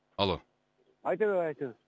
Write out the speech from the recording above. алло айта бер айта бер